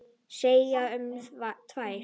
Segjum tvær.